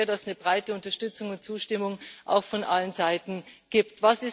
Ich hoffe sehr, dass es eine breite Unterstützung und Zustimmung auch von allen Seiten gibt.